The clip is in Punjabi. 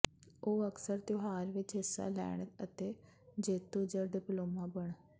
ਉਹ ਅਕਸਰ ਤਿਉਹਾਰ ਵਿਚ ਹਿੱਸਾ ਲੈਣ ਅਤੇ ਜੇਤੂ ਜ ਡਿਪਲੋਮਾ ਬਣ